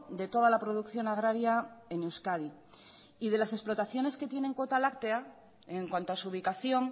de toda la producción agraria en euskadi y de las explotaciones que tienen cuota láctea en cuanto a su ubicación